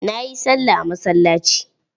Na yi sallah a masallaci.